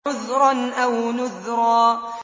عُذْرًا أَوْ نُذْرًا